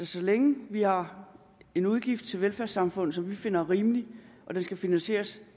så længe vi har en udgift til velfærdssamfundet som vi finder rimelig og den skal finansieres